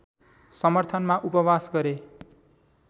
समर्थनमा उपवास गरे